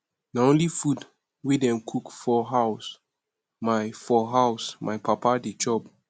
na only food wey dem cook for house my for house my papa dey chop